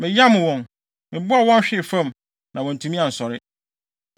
Meyam wɔn, mebɔɔ wɔn hwee fam, na wɔantumi ansɔre; wɔhwehwee ase wɔ mʼanan ase.